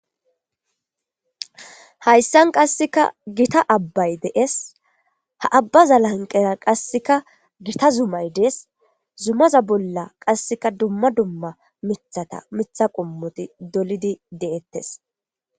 Hayssan qassikka gitta abay de7ees. Ha abaza lanqqera qasseka gita zummay dees. Zummaza bolla qasseka dumma dumma miththata miththa qommoti dolidi de7eetees.